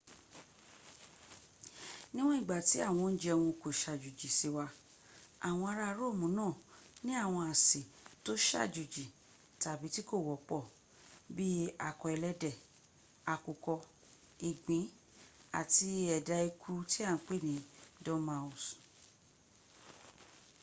níwọ̀n ìgbà ti àwọn oúnjẹ wọn kò sàjòjì sí wa àwọnn arà romu náà ní àwọn àsè tó sàjòjì tàbí tí kò wọ́pọ̀ bi akọ ẹlẹ́dẹ̀ àkùkọ ìgbín àti ẹ̀dà eku tí a ń pè ní dormouse